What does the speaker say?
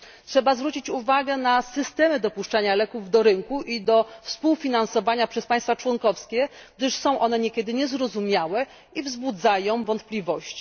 Trzeba zwrócić uwagę na systemy dopuszczania leków do rynku i do współfinansowania przez państwa członkowskie, gdyż są one niekiedy niezrozumiałe i wzbudzają wątpliwości.